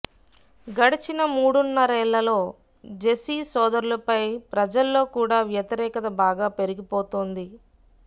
గడచిన మూడున్నరేళ్ళలో జెసి సోదరులపై ప్రజల్లో కూడా వ్యతిరేకత బాగా పెరిగిపోతోంది